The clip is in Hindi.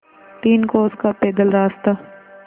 तीन कोस का पैदल रास्ता